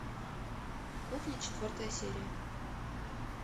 кухня четвертая серия